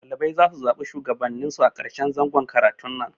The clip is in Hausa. Ɗalibai zasu zaɓi Shugabannin su a karshen zangon karatun nan